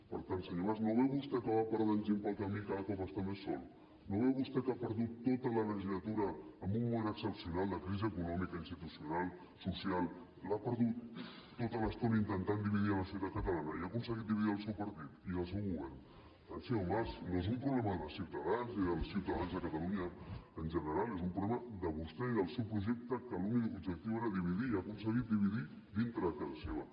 per tant senyor mas no veu vostè que va perdent gent pel camí i cada cop està més sol no veu vostè que ha perdut tota la legislatura en un moment excepcional de crisi econòmica i institucional social l’ha perdut tota l’estona intentant dividir la societat catalana i ha aconseguit dividir el seu partit i el seu govern per tant senyor mas no és un problema de ciutadans ni dels ciutadans de catalunya en general és un problema de vostè i del seu projecte que l’únic objectiu era dividir i ha aconseguit dividir dintre a casa seva